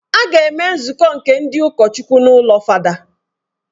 A ga-eme nzukọ nke ndị ụkọchukwu n’ụlọ fada